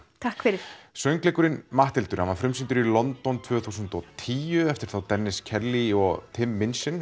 takk fyrir söngleikurinn Matthildur hann var frumsýndur í London tvö þúsund og tíu eftir þá Dennis Kelly og Tim Minchin